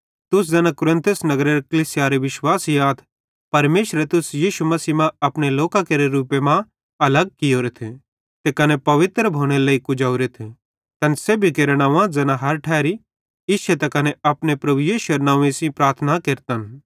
तुस ज़ैना कुरिन्थुस नगरेरे कलीसियारे विश्वासी आथ परमेशरे तुस यीशु मसीह मां अपने लोकां केरे रूपे मां अलग कियोरेथ ते कने पवित्र भोनेरे लेइ कुजोरेथ तैन सेब्भी केरां नंव्वे ज़ैना हर ठैरी इश्शे त कने अपने प्रभु यीशुएरे नंव्वे सेइं प्रार्थना केरतन